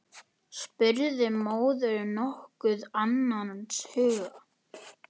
spurði móðirin nokkuð annars hugar.